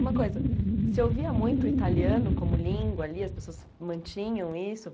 Uma coisa, se ouvia muito o italiano como língua ali, as pessoas mantinham isso?